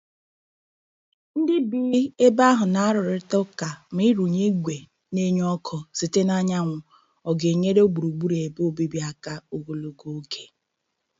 Ndị bi ebe ahụ na-arụrịta ụka ma ịrụnye igwe na-enye ọkụ site n'anyanwụ ọ ga-enyere gburugburu ebe obibi aka ogologo oge.